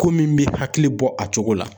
Ko min bɛ hakili bɔ a cogo la